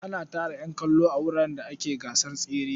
Ana tara ƴan kallo a wuraren da ake gasar tsere.